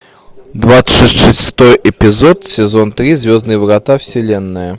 двадцать шестой эпизод сезон три звездные врата вселенная